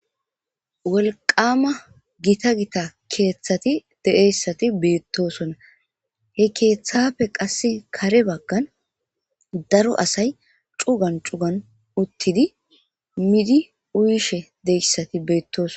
Wolqama gita gita keeththati deeyssati beettosonna he keeththafe qass kare baggan daro asay cugan cugan uttidi midi uyishe deyssati beettoson